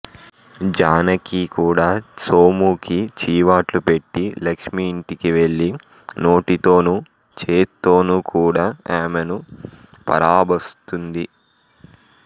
జానకి కూడా సోముకి చీవాట్లు పెట్టి లక్ష్మి ఇంటికివెళ్ళి నోటితోనూ చేత్తోనూ కూడా ఆమెను పరాభస్తుంది